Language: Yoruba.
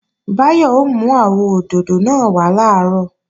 Báyọ̀ ó mú àwọ òdòdó náà wá làárọ̀